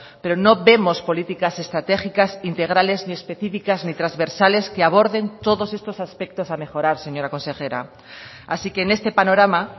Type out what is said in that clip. pero no vemos políticas estratégicas integrales ni especificas ni transversales que aborden todos estos aspectos a mejorar señora consejera así que en este panorama